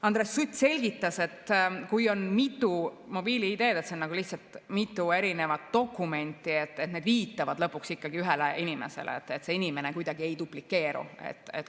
Andres Sutt selgitas, et kui on mitu mobiil‑ID‑d, siis need on lihtsalt mitu dokumenti, need viitavad lõpuks ikkagi ühele inimesele, see inimene kuidagi ei duplitseeru.